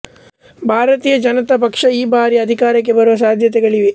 ಭಾರತೀಯ ಜನತಾ ಪಕ್ಷ ಈ ಬಾರಿ ಅಧಿಕಾರಕ್ಕೆ ಬರುವ ಸಾಧ್ಯತೆಗಳಿವೆ